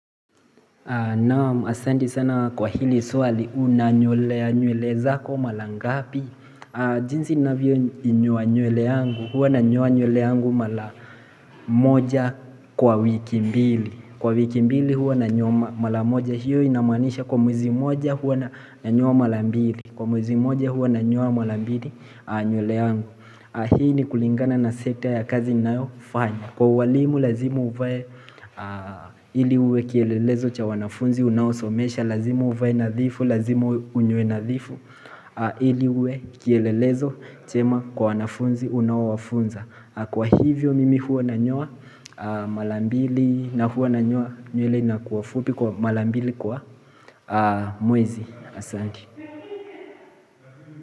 Naam asanti sana kwa hili suwali unanyolea nyuele zako malangapi jinsi ninavyoinyoa nywele yangu hua nanyoa nywele yangu mara moja kwa wiki mbili Kwa wiki mbili hua nanyoa mara moja hiyo inamanisha kwa mwezi moja hua nanyoa mara mbili Kwa mwezi moja hua nanyoa mara mbili nywele yangu Hii ni kulingana na sekta ya kazi nayofanya Kwa uwalimu lazimu uvae Ili uwe kielelezo cha wanafunzi unaosomesha Lazimu uvae nadhifu, lazimu unyoe nadhifu Ili uwe kielelezo chema kwa wanafunzi unao wafunza Kwa hivyo mimi huwa na nyoa mara mbili na huo nanyoa nywele inakua fupi kwa mara mbili kwa mwezi asanti.